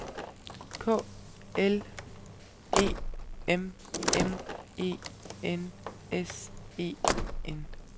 K L E M M E N S E N